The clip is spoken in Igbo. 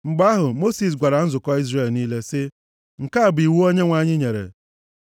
Mgbe ahụ Mosis gwara nzukọ Izrel niile sị, “Nke a bụ iwu Onyenwe anyị nyere,